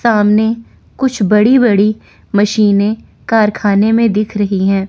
सामने कुछ बड़ी बड़ी मशीने कारखाने में दिख रही हैं।